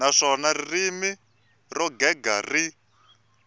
naswona ririmi ro gega ri